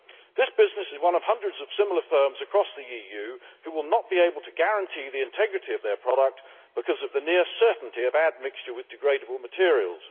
This business is one of hundreds of similar firms across the EU which will not be able to guarantee the integrity of their product because of the near certainty of add mixture with degradable materials.